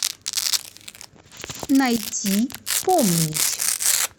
найти помнить